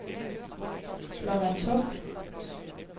Blåvandshuk